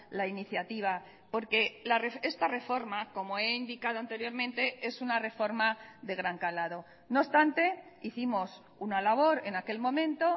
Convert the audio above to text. la iniciativa porque esta reforma como he indicado anteriormente es una reforma de gran calado no obstante hicimos una labor en aquel momento